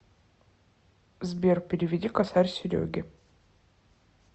сбер переведи косарь сереге